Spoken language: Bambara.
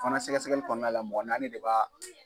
fana sɛgɛsɛgɛli kɔnɔna la mɔgɔ naani le b'a